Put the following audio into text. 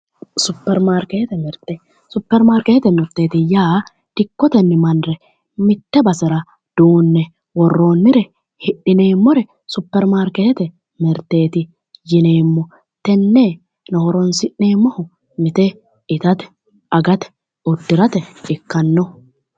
Super marketete, super markete mirteeti yaa dikkotenni marre mitte basera duunne worroonnire hidhineemmore super markete mirteeti yineemmo. Tenne horoonsi'nemmohu mite itate, agate, uddirate ikkanno.